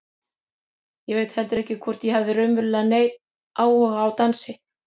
Ég veit heldur ekki hvort ég hafði raunverulega neinn áhuga á dansi.